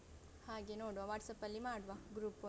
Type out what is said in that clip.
ಹಾಗೆ ನೋಡುವ WhatsApp ಲ್ಲಿ ಮಾಡುವ group ಒಂದು.